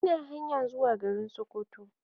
Ina hanyan zuwa garin Sokoto